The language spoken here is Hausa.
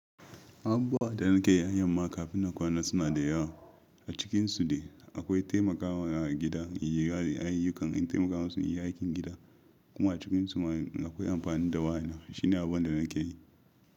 Abubuwan da na ke yi da yamma kafin na kwana suna da yawa. A cikinsu dai akwai taimakawa a gida, yin gyara da ayyukan in taimaka musu in yi aikin gida kuma a cikinsu ma akwai amfani da wadan nan. Shi ne abun da nake yi.